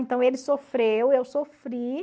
Então, ele sofreu, eu sofri.